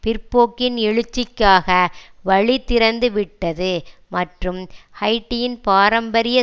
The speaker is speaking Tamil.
பிற்போக்கின் எழுச்சிக்காக வழி திறந்து விட்டது மற்றும் ஹைட்டியின் பாரம்பரிய